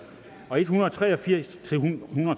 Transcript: og en hundrede og tre og firs til nitten